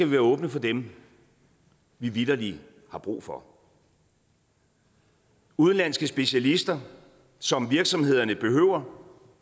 være åbne for dem vi vitterlig har brug for udenlandske specialister som virksomhederne behøver